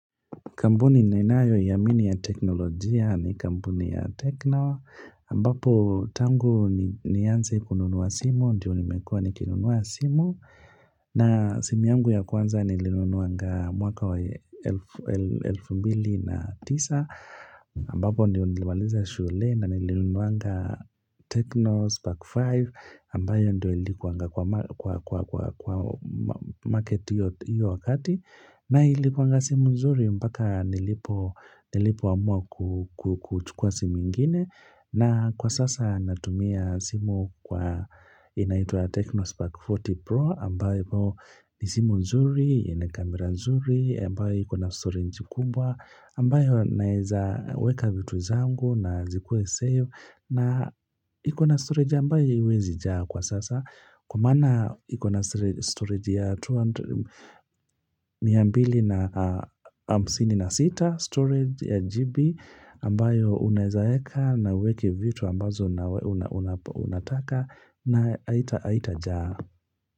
Kambuni ninayoiamini ya teknolojia ni kampuni ya techno. Ambapo tangu nianze kununua simu, ndiyo nimekuwa nikinunua simu. Na simu yangu ya kwanza nilinunuwanga mwaka wa elfu mbili na tisa. Ambapo ndiyo nilimaliza shule na nilinunuwanga techno spark 5. Ambayo ndiyo ilikuanga kwa market hiyo wakati. Na ilikuanga simu nzuri mpaka nilipoamua kuchukua simu ingine na kwa sasa natumia simu kwa inaitwa Tecno Spark 40 Pro ambayo ni simu nzuri, ina kamera nzuri, ambayo iko na storage kubwa ambayo naweza weka vitu zangu na zikuwe save na ikona storage ambayo haiwezi jaa kwa sasa Kwa maana ikona storage ya 200 miambili na msini na sita storage ya GB ambayo unaezaeka na uweki vitu ambazo unataka na haitajaa.